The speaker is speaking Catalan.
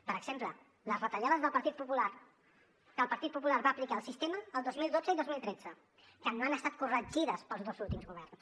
per exemple les retallades del partit popular que el partit popular va aplicar al sistema el dos mil dotze i dos mil tretze que no han estat corregides pels últims governs